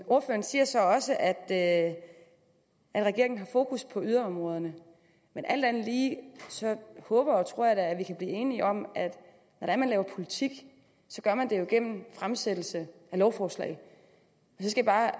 ordføreren siger så også at at regeringen har fokus på yderområderne men alt andet lige håber og tror jeg da at vi kan blive enige om at når man laver politik så gør man det jo gennem fremsættelse af lovforslag så skal jeg